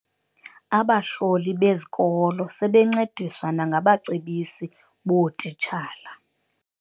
Abahloli bezikolo sebencediswa nangabacebisi bootitshala.